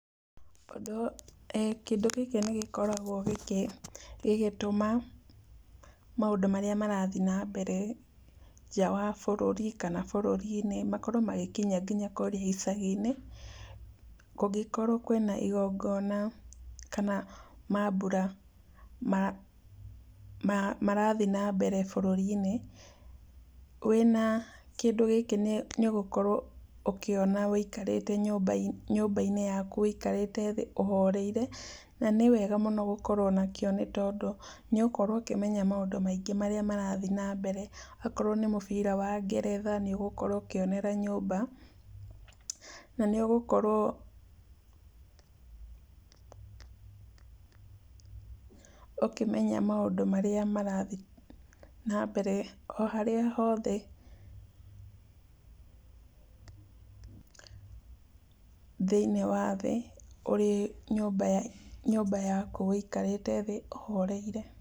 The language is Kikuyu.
Ũndũ, kĩndũ gĩkĩ nĩ gĩkoragwo gĩkĩ, gĩgĩtũma maũndũ marĩa marathi na mbere, nja wa bũrũri, kana bũrũri-inĩ, makorwo magĩkinya nginya kũrĩa gĩcagi-inĩ, kũngĩkorwo kwĩna igongona, kana mambura, ma marathi na mbere bũrũri-inĩ, wĩna kĩndũ gĩkĩ nĩ, nĩ ũgũkorwo ũkĩona wĩkarĩte nyũmba, nyũmba-inĩ yaku, wĩkarĩte thĩ ũhoreire, na nĩ wega mũno gũkorwo nakĩo nĩ tondũ nĩ ũgũkorwo kĩmenya maũndũ maingĩ marĩa marathiĩ na mbere, akorwo nĩ mũbira wa ngeretha, nĩ ũgũkorwo ũkĩonera nyũmba, na nĩ ũgũkorwo ũkĩmenya maũndũ marĩa marathiĩ na mbere o harĩa hothe thĩinoĩ wathĩ, ũrĩ nyũmba ya, nyũmba yaku wĩkarĩte thĩ ũhoreire.